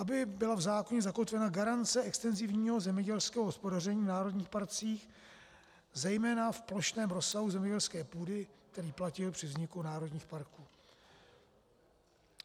Aby byla v zákoně zakotvena garance extenzivního zemědělského hospodaření v národních parcích, zejména v plošném rozsahu zemědělské půdy, který platil při vzniku národních parků.